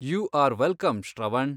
You are welcome, Shravan.